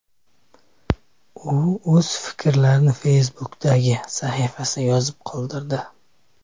U o‘z fikrlarini Facebook’dagi sahifasida yozib qoldirdi .